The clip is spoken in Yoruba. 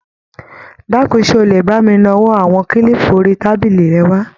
Dákun, ṣé o lè bá mi nawọ́ àwọn kílípù orí tábìlì rẹ wá?